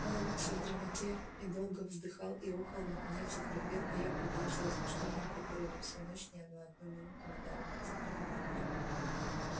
он улёгся в дремоте и долго вздыхал и охал наконец захрапел а я предался размышлениям которые во всю ночь ни на одну минуту не дали мне задремать